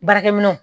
Baarakɛminɛnw